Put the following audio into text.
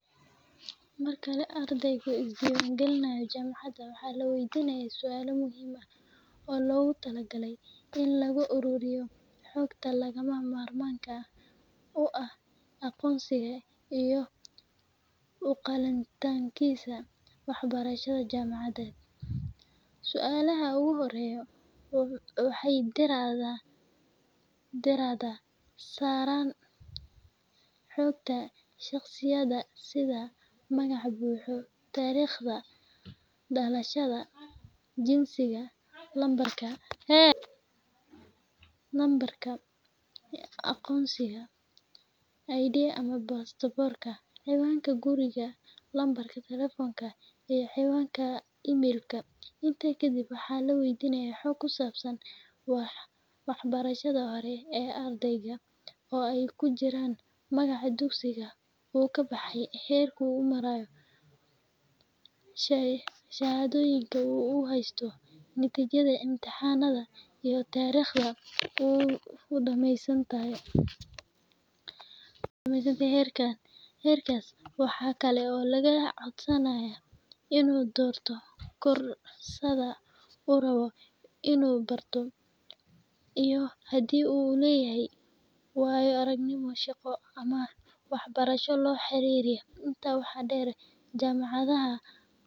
Marka ardaygu isku diiwaangelinayo jaamacad, waxaa la waydiinayaa su’aalo badan oo muhiim ah si loo hubiyo in ardayga uu buuxiyo shuruudaha iyo inuu u qalmo inuu wax ka barto jaamacadda. Su’aalahaasi waxay ka mid noqon karaan: Magacaaga oo buuxa, taariikhda dhalashadaada, iyo meesha aad ka soo jeedo. Waxaa sidoo kale lagu waydiin karaa heerka tacliimeed ee aad soo gudbisay, sida dugsiga sare aad ka baxday iyo natiijooyinka imtixaankaaga. Su’aal kale oo muhiim ah ayaa ah koorsada ama barnaamijka aad rabto inaad dhigato iyo sababta aad u dooratay. Intaa waxaa dheer, waxaa lagu waydiin karaa xaaladahaaga dhaqaale iyo haddii aad u baahan tahay taageero dhaqaale.